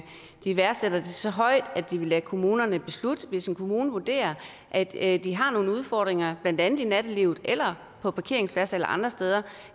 de værdsætter det så højt at de vil lade kommunerne beslutte det hvis en kommune vurderer at de har nogle udfordringer blandt andet i nattelivet eller på parkeringspladser eller andre steder